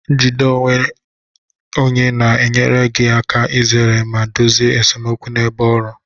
Njide onwe onye na-enyere gị aka izere ma dozie esemokwu n'ebe ọrụ